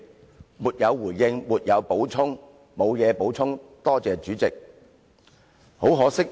他們都說："沒有回應，沒有補充，多謝主席"。